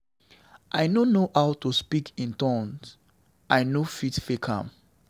I no know how to speak in tongues, I no fit fake am.